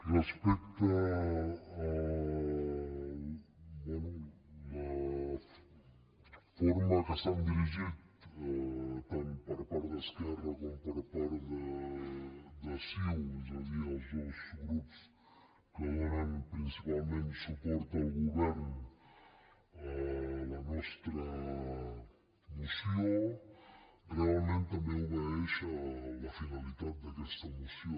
respecte a la forma en què s’han dirigit tant per part d’esquerra com per part de ciu és a dir els dos grups que donen principalment suport al govern a la nostra moció realment també obeeix a la finalitat d’aquesta moció